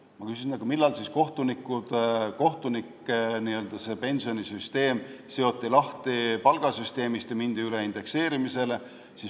Ma küsisin, et aga millal siis kohtunike pensionisüsteem seoti lahti palgasüsteemist ja mindi üle indekseerimisele.